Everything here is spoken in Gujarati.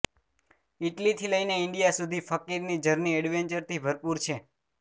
ઈટલીથી લઈને ઈન્ડિયા સુધી ફકીરની જર્ની એડવેન્ચરથી ભરપૂર છે